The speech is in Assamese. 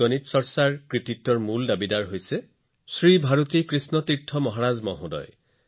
আধুনিক সময়ত বৈদিক গণিতৰ কৃতিত্ব শ্ৰী ভাৰতী কৃষ্ণ তীৰ্থজী মহাৰাজক দিয়া হয়